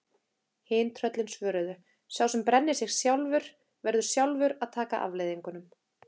Hin tröllin svöruðu: Sá sem brennir sig sjálfur, verður sjálfur að taka afleiðingunum